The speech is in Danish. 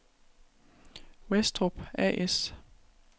Westrup A/S